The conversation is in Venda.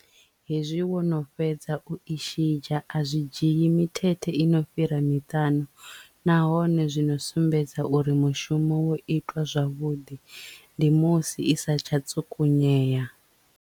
Hezwi wo no fhedza u i shidzha a zwi dzhii mithethe i no fhira miṱanu nahone zwino sumbedza uri mushumo wo itwa zwavhuḓi ndi musi i sa tsha tsukunyea.